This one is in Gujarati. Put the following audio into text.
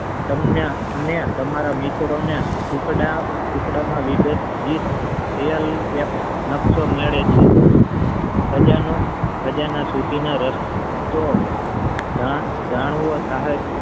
તમને અને તમારા મિત્રને ટુકડા ટુકડામાં વિભાજીત એક નકશો મળે છે ખજાના સુધી નો રસ્તો જાણવો સહાય